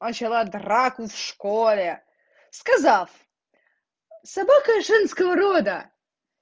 начала драку в школе сказав собака женского рода